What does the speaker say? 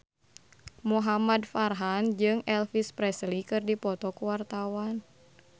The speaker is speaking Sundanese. Muhamad Farhan jeung Elvis Presley keur dipoto ku wartawan